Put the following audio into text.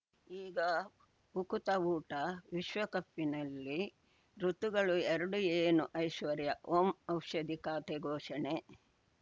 ಈಗ ಉಕುತ ಊಟ ವಿಶ್ವಕಪ್ಪಿನಲ್ಲಿ ಋತುಗಳು ಎರಡು ಏನು ಐಶ್ವರ್ಯಾ ಓಂ ಔಷಧಿ ಖಾತೆ ಘೋಷಣೆ